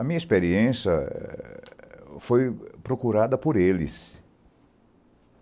A minha experiência eh foi procurada por eles.